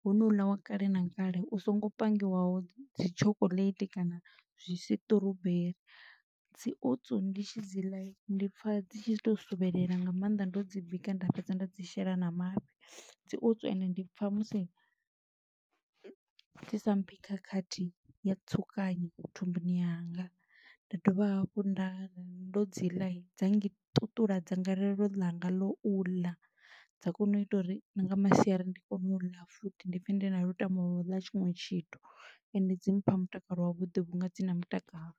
ho no u ḽa wa kale na kale u songo pangiwaho dzi chocolate kana zwisiṱuruberi. Dzi oats ndi tshi dzi ḽa, ndi pfa dzi tshi to suvhelela nga maanḓa ndo dzi bika nda fhedza nda dzi shela na mafhi, dzi oats ende ndi pfa musi dzi sa mphi khakhathi ya tsukanyo thumbuni yanga, nda dovha hafhu nda ri ndo dzi ḽa, dza ngi ṱuṱula dzangalelo ḽanga ḽo u ḽa, dza kona u ita uri na nga masiari ndi kone u ḽa futhi ndi pfe ndi na lutamo ḽa tshiṅwe tshithu, ende dzi mpha mutakalo wavhuḓi vhunga dzi na mutakalo.